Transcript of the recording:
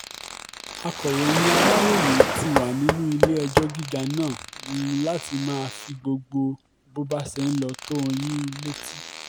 akọ̀ròyìn aláròye ti wà nínú ilé-ẹjọ́ gíga náà um láti máa fi gbogbo bó bá ṣe ń lọ tó yín um létí